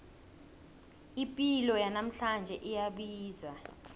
ipilo yanamhlanje iyabiza